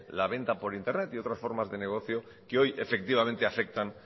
la venta por internet y otras formas de negocio que hoy efectivamente afectan